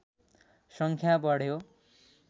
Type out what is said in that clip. सङ्ख्या बढ्यो